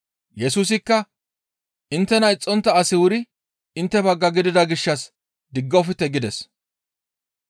Yesusikka, «Inttena ixxontta asi wuri intte bagga gidida gishshas diggofte» gides.